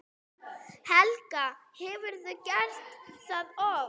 Helga: Hefurðu gert það oft?